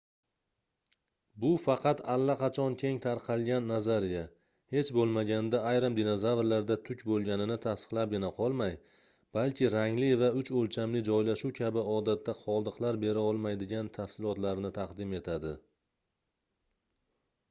bu faqat allaqachon keng tarqalgan nazariya hech boʻlmaganda ayrim dinozavrlarda tuk boʻlganini tasdiqlabgina qolmay balki rangli va uch oʻlchamli joylashuv kabi odatda qoldiqlar berolmaydigan tafsilotlarni taqdim etadi